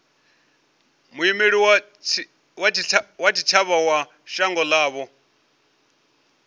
muimeli wa tshitshavha wa shango ḽavho